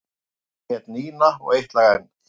Það er Nína og Eitt lag enn.